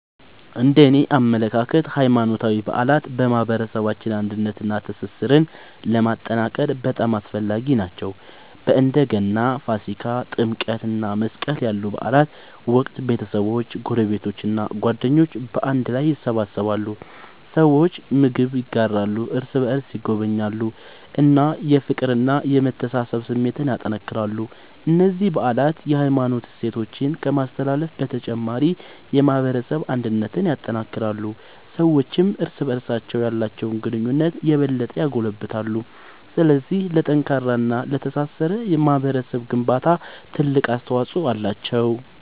እነደኔ አመለካከት ሃይማኖታዊ በዓላት በማህበረሰባችን አንድነትንና ትስስርን ለማጠናከር በጣም አስፈላጊ ናቸው። በእንደ ገና፣ ፋሲካ፣ ጥምቀት እና መስቀል ያሉ በዓላት ወቅት ቤተሰቦች፣ ጎረቤቶች እና ጓደኞች በአንድ ላይ ይሰበሰባሉ። ሰዎች ምግብ ይጋራሉ፣ እርስ በርስ ይጎበኛሉ እና የፍቅርና የመተሳሰብ ስሜትን ያጠናክራሉ። እነዚህ በዓላት የሃይማኖት እሴቶችን ከማስተላለፍ በተጨማሪ የማህበረሰብ አንድነትን ያጠናክራሉ። ሰዎችም እርስ በርስ ያላቸውን ግንኙነት የበለጠ ያጎለብታሉ። ስለዚህ ለጠንካራና ለተሳሰረ ማህበረሰብ ግንባታ ትልቅ አስተዋጽኦ አላቸው።